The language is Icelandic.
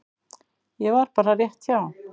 Ég var bara rétt hjá.